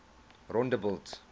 rondebult